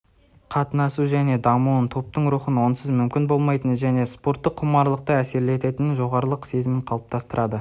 қатынасу дене дамуын топтың рухын онсыз мүмкін болмайтын және спорттық құмарлықты әсерлететін жолдастық сезімін қалыптастырады